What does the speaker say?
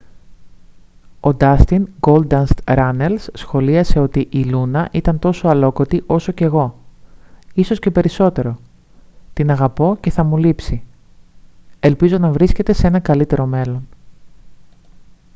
ο ντάστιν «γκόλνταστ» ράνελς σχολίασε ότι «η λούνα ήταν τόσο αλλόκοτη όσο και εγώ ίσως και περισσότερο την αγαπώ και θα μου λείψει ελπίζω να βρίσκεται σε ένα καλύτερο μέρος»